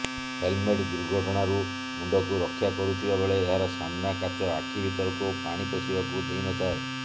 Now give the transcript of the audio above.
helmet ଦୁର୍ଘଟଣାରୁ ମୁଣ୍ଡକୁ ରକ୍ଷା କରୁଥିବା ବେଳେ ଏହାର ସାମ୍ନା କାଚ ଆଖି ଭିତରକୁ ପାଣି ପଶିବାକୁ ଦେଇନଥାଏ